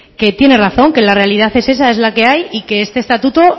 que tiene razón que la realidad es esa es la que hay y que este estatuto